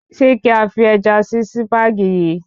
Ṣé kí a fi Ẹja sí Sípàgì yìí?